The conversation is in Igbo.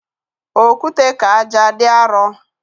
Okwute ka ájá dị arọ